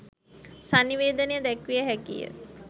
සන්නිවේදනය දැක්විය හැකිය.